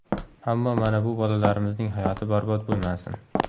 Ammo mana bu bolalarimizning hayoti barbod bo‘lmasin.